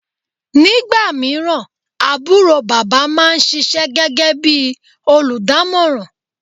nígbàmíràn àbúrò bàbá ma ń ṣíṣe gégé bí olùdámọ̀ràn